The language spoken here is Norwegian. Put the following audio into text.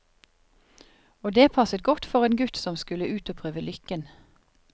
Og det passet godt for en gutt som skulle ut og prøve lykken.